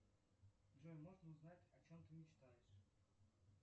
джой можно узнать о чем ты мечтаешь